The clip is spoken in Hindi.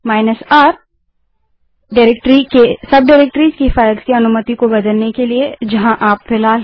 R160 जो डाइरेक्टरी की सब डाइरेक्टरीज़ हैं उनकी फ़ाइलों की अनुमति को बदलने के लिए जहाँ आप फिलहाल हैं